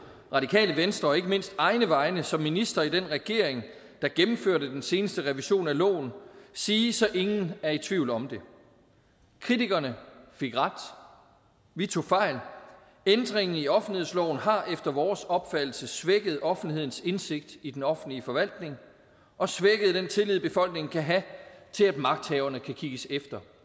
radikale venstres og ikke mindst egne vegne som minister i den regering der gennemførte den seneste revision af loven sige så ingen er i tvivl om det kritikerne fik ret vi tog fejl ændringen i offentlighedsloven har efter vores opfattelse svækket offentlighedens indsigt i den offentlige forvaltning og svækket den tillid befolkningen kan have til at magthaverne kan kigges efter